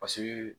Paseke